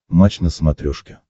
матч на смотрешке